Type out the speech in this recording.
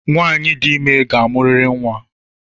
Nwanyị dị ime ga-amuriri nnwa